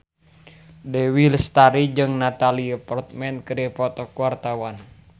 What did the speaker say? Dewi Lestari jeung Natalie Portman keur dipoto ku wartawan